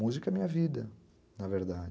Música é minha vida, na verdade.